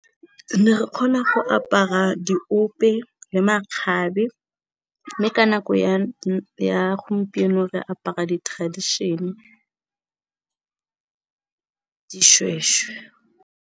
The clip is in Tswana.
Ne re kgona go apara diope le makgabe, mme ka nako ya gompieno re apara di tradition, dishweshwe.